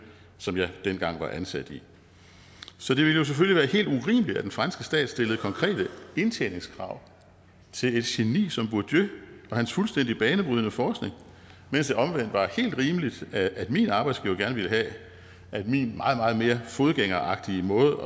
som jeg dengang var ansat i så det ville jo selvfølgelig være helt urimeligt at den franske stat stillede konkrete indtjeningskrav til et geni som bourdieu og hans fuldstændig banebrydende forskning mens det omvendt var helt rimeligt at min arbejdsgiver gerne ville have at min meget meget mere fodgængeragtige måde